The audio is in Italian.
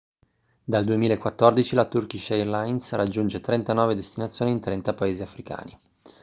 dal 2014 la turkish airlines raggiunge 39 destinazioni in 30 paesi africani